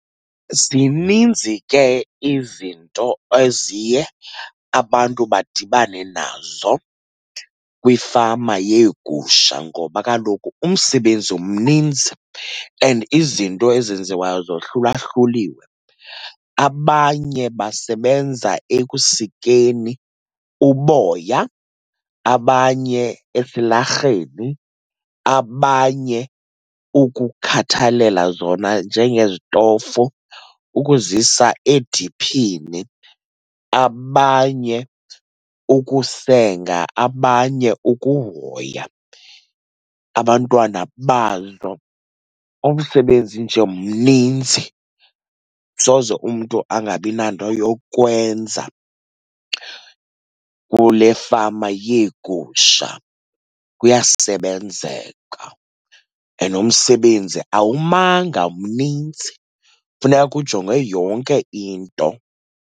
Zininzi ke izinto eziye abantu badibane nazo kwifama yeegusha ngoba kaloku umsebenzi mninzi and izinto ezenziwayo zohlulahluliwe. Abanye basebenza ekusikeni uboya, abanye esilarheni, abanye ukukhathalela zona njengezitofu, ukuzisa ediphini, abanye ukusenga, abanye ukuhoya abantwana bazo. Umsebenzi nje mninzi, soze umntu angabi nanto yokwenza kule fama yeegusha. Kuyasebenzeka and umsebenzi awumanga, mnintsi. Funeka kujongwe yonke into.